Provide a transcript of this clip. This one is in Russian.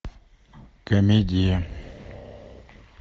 комедия